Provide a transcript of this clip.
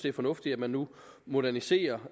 er fornuftigt at man nu moderniserer